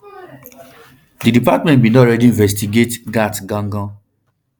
di department um bin don already investigate gaetz gangan